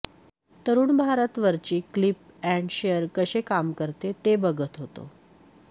तरूण भारत वरची clip and share कसे काम करते ते बघत होतो